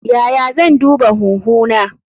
Yaya zan duba huhu na?